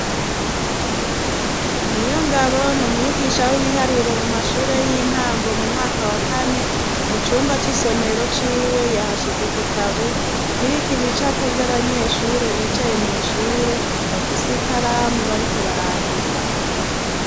niyongabo n' umwigisha w'ibiharuro mu mashure y'intango mu mwaka wa kane mu cumba c'isomero ciwe yahashize igitabu kiriko ibicapo vy'abanyeshure bicaye mw' ishure bafise ikaramu bariko barandika